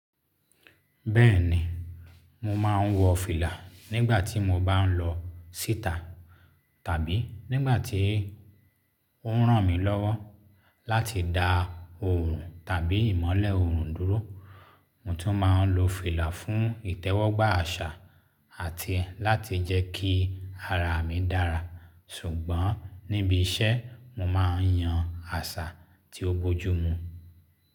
Bẹ́ẹ̀ni, mo máa ń wọ fìlà nígbà tí mo bá ń lọ síta tàbí nígbà tí ó ń ràn mí lọ́wọ́ láti da oorun tàbí ìmọ́lẹ̀ oorun dúró. Mo tún máa ń lo fìlà fún ìtẹ́wọ́gbà àṣà àti láti jẹ́ kí ara mi dára. Ṣùgbọ́n níbi iṣẹ́, mo máa ń yan àṣà tí ó bojú mu.